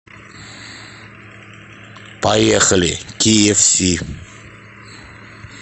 поехали киэфси